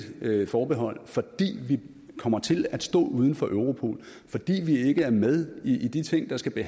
forbehold fordi vi kommer til at stå uden for europol fordi vi ikke er med i de ting der skal